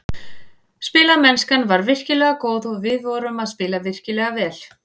Spilamennskan var virkilega góð og við vorum að spila virkilega vel.